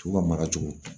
U ka mara cogo